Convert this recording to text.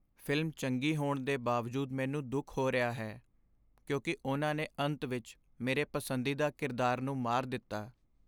Film ਚੰਗੀ ਹੋਣ ਦੇ ਬਾਵਜੂਦ ਮੈਨੂੰ ਦੁੱਖ ਹੋ ਰਿਹਾ ਹੈ ਕਿਉਂਕਿ ਉਨ੍ਹਾਂ ਨੇ ਅੰਤ ਵਿੱਚ ਮੇਰੇ ਪਸੰਦੀਦਾ ਕਿਰਦਾਰ ਨੂੰ ਮਾਰ ਦਿੱਤਾ।